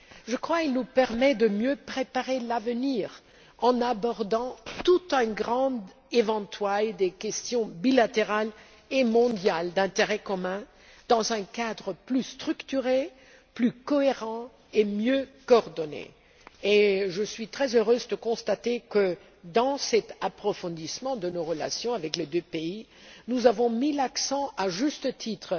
Je crois qu'il nous permet de mieux préparer l'avenir en abordant tout un éventail de questions bilatérales et mondiales d'intérêt commun dans un cadre plus structuré, plus cohérent et mieux coordonné. Je suis très heureuse de constater que, dans cet approfondissement de nos relations avec les deux pays, nous avons mis l'accent, à juste titre,